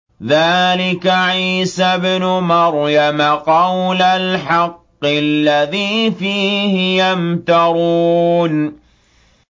ذَٰلِكَ عِيسَى ابْنُ مَرْيَمَ ۚ قَوْلَ الْحَقِّ الَّذِي فِيهِ يَمْتَرُونَ